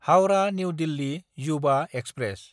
Howrah New Delhi Yuva express